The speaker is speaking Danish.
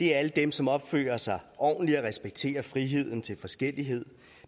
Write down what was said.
det er alle dem som opfører sig ordentligt og respekterer friheden til forskellighed